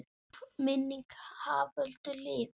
Ljúf minning Haföldu lifir.